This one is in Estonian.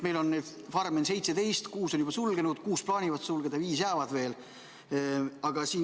Farme on 17, kuus on juba tootmise sulgenud, kuus plaanivad sulgeda, viis jääb veel alles.